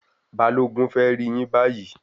Balogun fẹ rí yín bayi